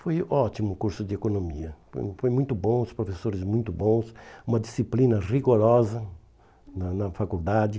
Foi ótimo o curso de economia, foi foi muito bom, os professores muito bons, uma disciplina rigorosa na na faculdade.